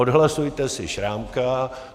Odhlasujte si Šrámka.